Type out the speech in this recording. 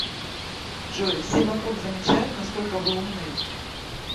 джой все вокруг замечают насколько вы умны